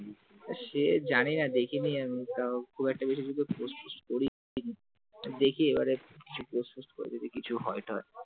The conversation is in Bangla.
সে জানিনা দেখিনি খুব একটা বেশি কিছু post ফহস্ট করিনি তো দেখি এবারে কিছু post ফহস্ট যদি কিছু হয় তো,